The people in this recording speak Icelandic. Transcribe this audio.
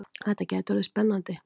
Þetta gæti orðið spennandi!